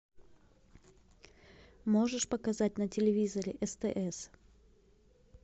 можешь показать на телевизоре стс